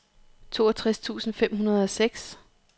toogtres tusind fem hundrede og seks